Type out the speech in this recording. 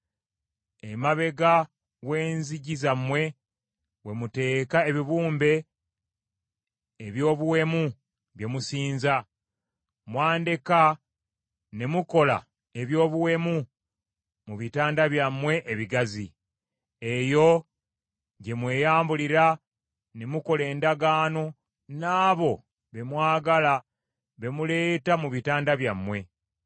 Emabega w’enzigi zammwe we muteeka ebibumbe eby’obuwemu bye musinza. Mwandeka ne mukola eby’obuwemu mu bitanda byammwe ebigazi. Eyo gye mweyambulira ne mukola endagaano n’abo be mwagala be muleeta mu bitanda byammwe.